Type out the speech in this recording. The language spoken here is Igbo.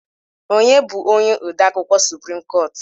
Onye bụ onye odeakwụkwọ suprim koot?